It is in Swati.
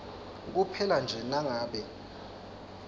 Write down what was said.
kuphela nje nangabe